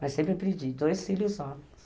Mas sempre pedi, dois filhos homens.